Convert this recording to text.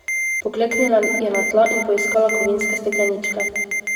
Pokleknila je na tla in poiskala kovinske stekleničke.